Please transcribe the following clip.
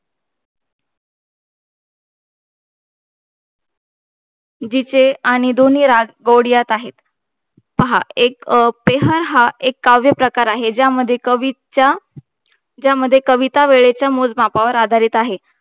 गुरुंजींचे आणि दोनी रसबाड यात आहे आणि एक काव्य प्रकार आहे ज्यामध्ये कविता वेळेच्या मोजमापावर आधारित आहे